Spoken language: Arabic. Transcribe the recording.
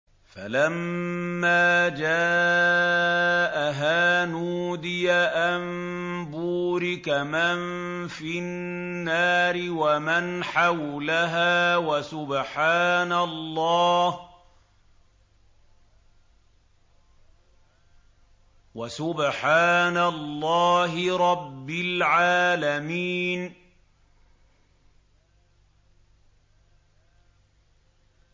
فَلَمَّا جَاءَهَا نُودِيَ أَن بُورِكَ مَن فِي النَّارِ وَمَنْ حَوْلَهَا وَسُبْحَانَ اللَّهِ رَبِّ الْعَالَمِينَ